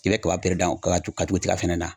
I bɛ kaba pere dan ka ka tugu tiga fɛnɛ na